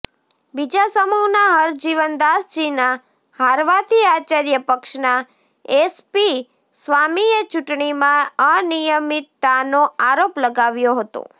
બીજા સમૂહના હરજીવનદાસજીના હારવાથી આચાર્ય પક્ષના એસપી સ્વામીએ ચૂંટણીમાં અનિયમિતતાનો આરોપ લગાવ્યો હતો